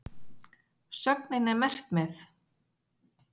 Sögnin er merkt með?